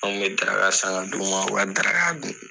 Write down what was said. An kun bɛ daraka san ka d'o ma o b'u ka daraka dun.